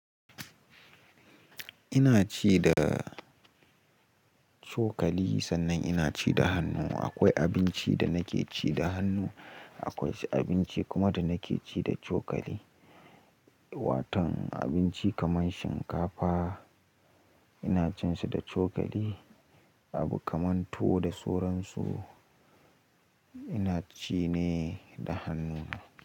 Inaci da cokali sannan inaci da hannuwa. Aƙwai abinci da nake ci da hannu, aƙwai wasu abinci kuma da nake ci da cokali. Watan abinci kamar shinkafa ina cin shi da cokali, abu kamar tuwo da soran su ina ci ne da hannu.